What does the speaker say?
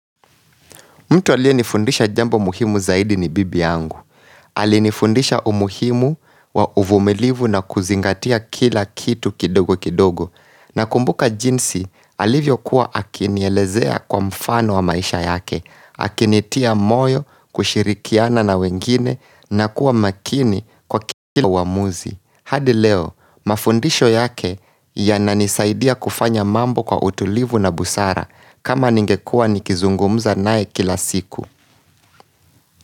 Mtu alienifundisha jambo muhimu zaidi ni bibi yangu. Alinifundisha umuhimu wa uvumilivu na kuzingatia kila kitu kidogo kidogo. Nakumbuka jinsi alivyokuwa akinielezea kwa mfano wa maisha yake. Akinitia moyo kushirikiana na wengine na kuwa makini kwa kila uamuzi. Hadi leo, mafundisho yake yananisaidia kufanya mambo kwa utulivu na busara. Kama ningekua nikizungumza nae kila siku.